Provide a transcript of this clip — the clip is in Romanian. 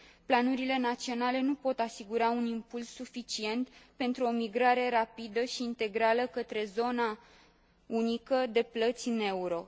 Planurile naționale nu pot asigura un impuls suficient pentru o migrare rapidă și integrală către zona unică de plăți în euro.